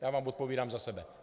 Já vám odpovídám za sebe.